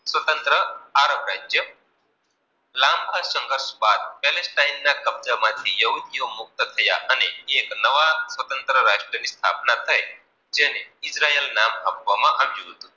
એના કબજા માંથી યોગધી ઓ મુકત થયા અને એક નવા સ્વત્રતન રાષ્ટ્રીય સ્થાપના થઈ જેને ઉદ્ર્યેલ નામ આપવામાં આવ્યું હતું.